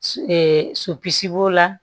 sopisi b'o la